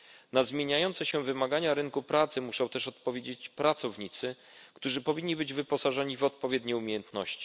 Na zmieniające się wymagania rynku pracy muszą też odpowiedzieć pracownicy, którzy powinni być wyposażeni w odpowiednie umiejętności.